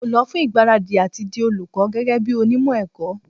Mo lọ fún ìgbáradì àti di olùkọ́ gẹ́gẹ́ bí onímọ̀ ẹ̀kọ́.